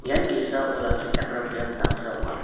ian ge·sa olakkichakram biap damsa ong·a.